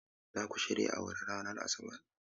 Za ku shirya awara ranar Asabar?